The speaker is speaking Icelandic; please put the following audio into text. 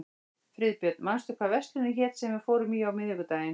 Friðbjörn, manstu hvað verslunin hét sem við fórum í á miðvikudaginn?